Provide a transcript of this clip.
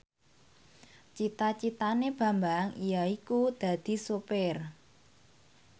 cita citane Bambang yaiku dadi sopir